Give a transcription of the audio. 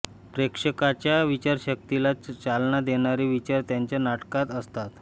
प्रेक्षकांच्या विचारशक्तीला चालना देणारे विचार त्यांच्या नाटकात असतात